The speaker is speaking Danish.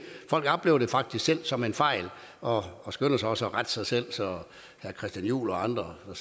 folk oplever det faktisk selv som en fejl og og skynder også at rette sig selv så herre christian juhl og andre der